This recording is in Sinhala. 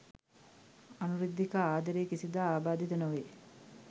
අනුරුද්ධිකා ආදරය කිසිදා ආබාධිත නොවේ